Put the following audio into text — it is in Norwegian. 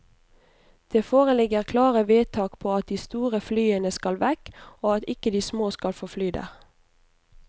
Det foreligger klare vedtak på at de store flyene skal vekk, og at ikke de små skal få fly der.